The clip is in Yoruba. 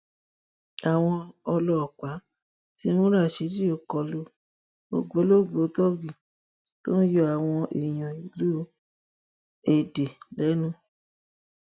àwọn ọlọpàá ti mú ràsídì òkọlu ògbólógbòó tóógì tó ń yọ àwọn èèyàn ìlú èdè lẹnu